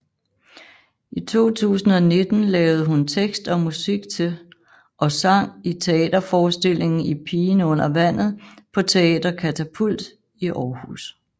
I 2019 lavede hun tekst og musik til og sang i teaterforestillingen Pigen Under Vandet på Teater Katapult i Aarhus